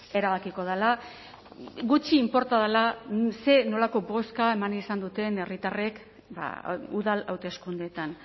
erabakiko dela gutxi inporta dela zein nolako bozka eman izan duten herritarrek udal hauteskundeetan